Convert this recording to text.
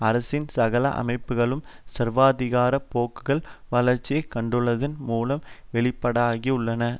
அரசின் சகல அமைப்புகளிலும் சர்வாதிகார போக்குகள் வளர்ச்சி கண்டுள்ளதன் மூலம் வெளிப்பாடாகியுள்ளன